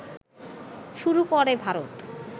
শুরু করে ভারত